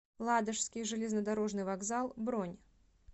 ладожский железнодорожный вокзал бронь